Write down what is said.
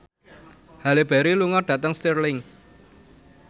Halle Berry lunga dhateng Stirling